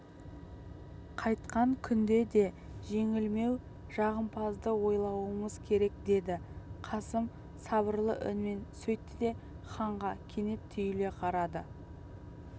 қайткен күнде де жеңілмеу жағымызды ойлауымыз керек деді қасым сабырлы үнмен сөйтті де ханға кенет түйіле қарады